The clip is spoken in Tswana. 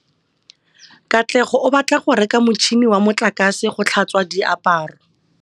Katlego o batla go reka motšhine wa motlakase wa go tlhatswa diaparo.